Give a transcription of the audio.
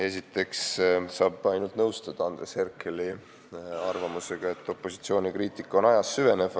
Esiteks saab ainult nõustuda Andres Herkeli arvamusega, et opositsiooni kriitika on ajas süvenev.